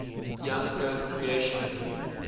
young earth creationism